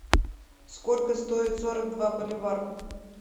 сколько стоит сорок два боливар